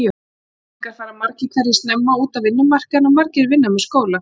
Unglingar fara margir hverjir snemma út á vinnumarkaðinn og margir vinna með skóla.